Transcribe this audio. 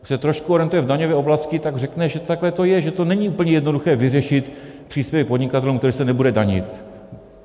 Kdo se trošku orientuje v daňové oblasti, tak řekne, že takhle to je, že to není úplně jednoduché, vyřešit příspěvek podnikatelům, který se nebude danit.